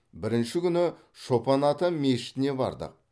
бірінші күні шопан ата мешітіне бардық